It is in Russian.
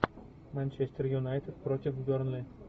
манчестер юнайтед против бернли